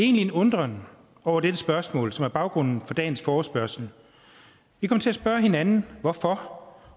en undren over dette spørgsmål som er baggrunden for dagens forespørgsel vi kom til at spørge hinanden hvorfor